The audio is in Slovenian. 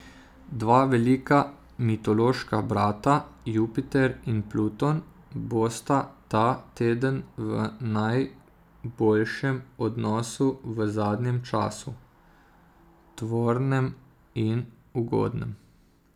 Dva velika mitološka brata, Jupiter in Pluton, bosta ta teden v najboljšem odnosu v zadnjem času, tvornem in ugodnem.